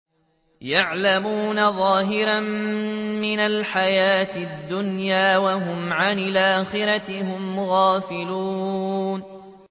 يَعْلَمُونَ ظَاهِرًا مِّنَ الْحَيَاةِ الدُّنْيَا وَهُمْ عَنِ الْآخِرَةِ هُمْ غَافِلُونَ